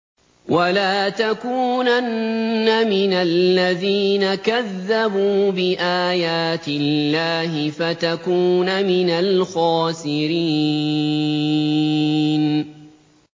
وَلَا تَكُونَنَّ مِنَ الَّذِينَ كَذَّبُوا بِآيَاتِ اللَّهِ فَتَكُونَ مِنَ الْخَاسِرِينَ